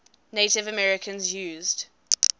native americans used